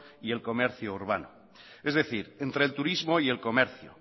y el comercio urbano es decir entre el turismo y el comercio